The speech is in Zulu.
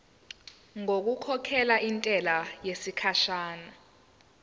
ngokukhokhela intela yesikhashana